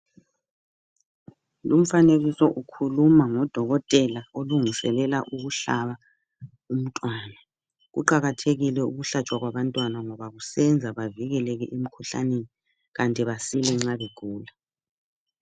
Lumfanekiso ukhuluma ngodokothela olungiselela ukuhlaba umntwana. Kuqakathekile ukulatshwa kwabantwana ngoba kusenza bavikeleke emkhuhlaneni kanti basile nxa begula.